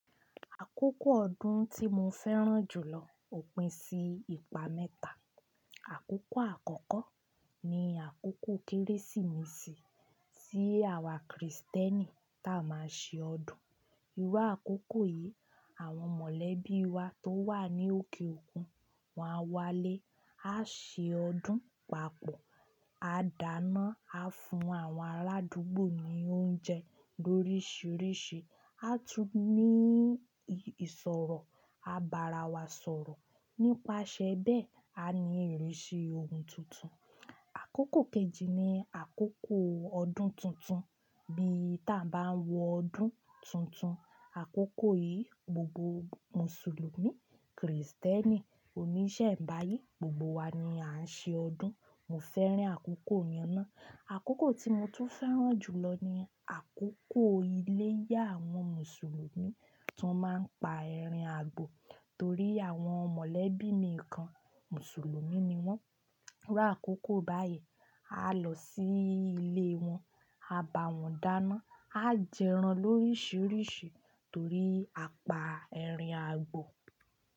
Àkókò ọdún tí mo fẹ́ràn jù lọ òpin sí ìpa mẹ́ta. Àkókò àkọ́kọ́ ni àkókò Kérésìmesì tí àwa Krìstẹ́nì táa máa ṣe ọdún. Irú àkókò yìí, àwọn mọ̀lẹ́bí wa tó wà ní òkè òkun, wọ́n á wálé, á ṣe ọdún papọ̀, a dáná, a fún àwọn aládùúgbò ní oúnjẹ lóríṣiríṣi, a tún ní ìṣòro, a bara wa sọ̀rọ̀. Nípasẹ̀ bẹ́ẹ̀, a ní ìrísí ohun tuntun. Àkókò kejì ni àkókò ọdún tuntun bí ta bá ń wọ ọdún tuntun. Àkókò yìí, gbogbo Mùsùlùmí, Krìstẹ́nì, oníṣẹ́ ẹ̀bá yìí, gbogbo wa ni à ń ṣe ọdún. Mo fẹ́ràn àkókò yen ná. Àkókò tí mo tún fẹ́ràn jù lọ ni àkókò ilé ìyá àwọn Mùsùlùmí tí wọ́n máa ń pa erin àgbò torí àwọn mọ̀lẹ́bí mi kan Mùsùlùmí ni wọ́n. Irú àkókò báyìí, a lọ sí ilé wọn, a bá wọn dáná, á jẹran lóríṣiríṣi torí apa erin àgbò.